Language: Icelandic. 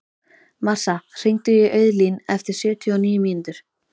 Marsa, hringdu í Auðlín eftir sjötíu og níu mínútur.